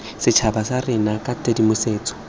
setšhaba sa rona ka tshedimosetso